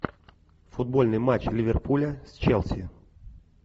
футбольный матч ливерпуля с челси